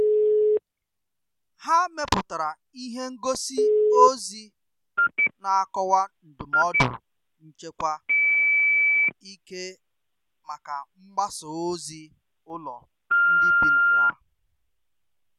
Ha mepụtara ihe ngosi ozi na akọwa ndụmọdụ nchekwa ike maka mgbasa ozi ụlọ ndị bi na ya.